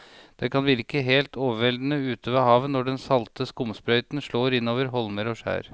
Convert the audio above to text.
Det kan virke helt overveldende ute ved havet når den salte skumsprøyten slår innover holmer og skjær.